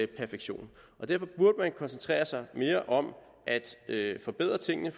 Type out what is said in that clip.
perfektion og derfor burde man koncentrere sig mere om at forbedre tingene